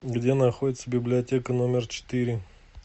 где находится библиотека номер четыре